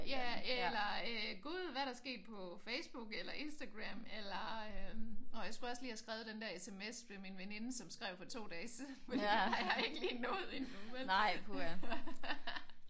Ja eller øh Gud hvad er der sket på Facebook eller Instagram eller nå jeg skulle også lige have skrevet den der SMS til min veninde som skrev for 2 dage siden for det har jeg ikke lige nået endnu vel?